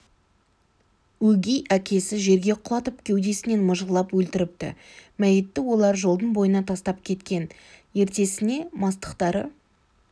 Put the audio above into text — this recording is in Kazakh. өгей әкесі жерге құлатып кеудесінен мыжғылап өлтіріпті мәйітті олар жолдың бойына тастап кеткен ертесіне мастықтары